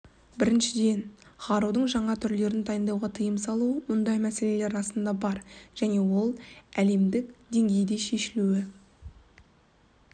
біріншіден қарудың жаңа түрлерін дайындауға тиым салу мұндай мәселелер расында бар және ол әлемдің деңгейде шешілуі